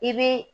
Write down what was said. I bi